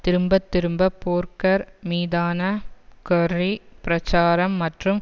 திரும்பத்திரும்ப போர்கர் மீதான கெர்ரி பிராச்சாரம் மற்றும்